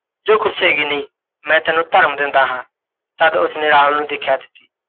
ਜੋ ਖੁੱਸੇਗੀ ਨਹੀਂ, ਮੈਂ ਤੈਨੂੰ ਧਰਮ ਦਿੰਦਾ ਹਾਂ। ਤੱਦ ਉਸਨੇ ਰਾਹੁਲ ਨੂੰ ਦੇਖਿਆ ।